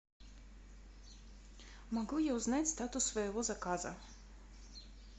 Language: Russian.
могу я узнать статус своего заказа